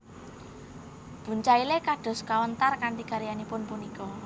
Bucaille dados kawntar kanthi karyanipun punika